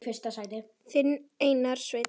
Þinn Einar Sveinn.